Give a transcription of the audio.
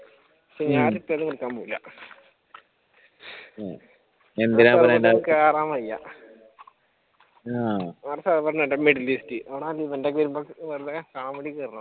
കേറാൻ വയ്യ